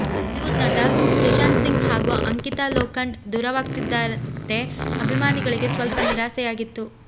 Bollywood ನಟ ಸುಶಾಂತ್ ಸಿಂಗ್ ಹಾಗೂ ಅಂಕಿತಾ ಲೋಖಂಡ್ ದೂರವಾಗ್ತಿದ್ದಂತೆ ಅಭಿಮಾನಿಗಳಿಗೆ ಸ್ವಲ್ಪ ನಿರಾಸೆಯಾಗಿತ್ತು